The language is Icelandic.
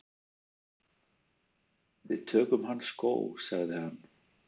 """Við tökum hans skó, sagði hann."""